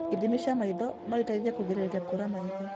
Ithimi cia maitho noiteithie kũgirĩrĩria kũra maitho